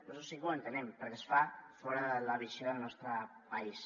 bé sí que ho entenem perquè es fa fora de la visió del nostre país